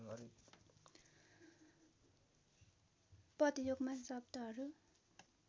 पदयोगमा शब्दहरू